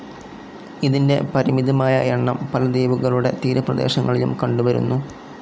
ഇതിൻ്റെ പരിമിതമായ എണ്ണം പല ദ്വീപുകളുടെ തീരപ്രേദേശങ്ങളിലും കണ്ടുവരുന്നു.